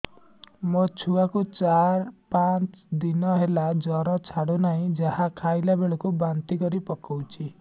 ମୋ ଛୁଆ କୁ ଚାର ପାଞ୍ଚ ଦିନ ହେଲା ଜର ଛାଡୁ ନାହିଁ ଯାହା ଖାଇଲା ବେଳକୁ ବାନ୍ତି କରି ପକଉଛି